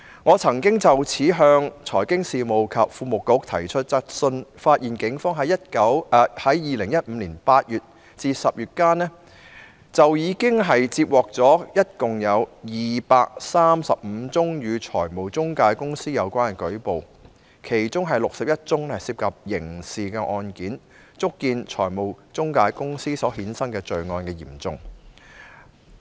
我曾經就此向財經事務及庫務局提出質詢，發現警方在2015年8月至10月間，共接獲235宗與財務中介公司有關的舉報，其中61宗是涉及刑事成分的案件，足見財務中介公司所衍生的罪案之嚴重。